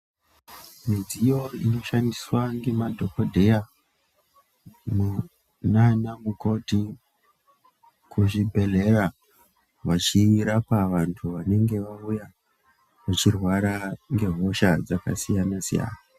Midziyo inoshandiswa ngemadhogodheya nanamukoti kuzvibhedhlera vachirapa vantu vanenge vauya vachirwara ngehosha dzakasiyana-siyana.